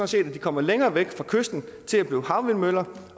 set at de kommer længere væk fra kysten og bliver havvindmøller